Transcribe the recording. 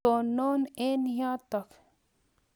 Tonon eng' yotok.